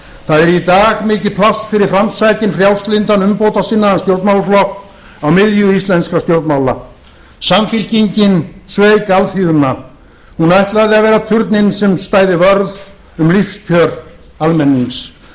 það er í dag mikið pláss fyrir framsækinn frjálslyndan umbótasinnaðan stjórnmálaflokk á miðju íslenskra stjórnmála samfylkingin sveik íslenska alþýðu hún ætlaði að vera turninn sem stæði vörð um lífskjör almennings